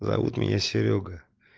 зовут меня серёга